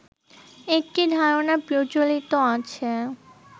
একটি ধারণা প্রচলিত আছে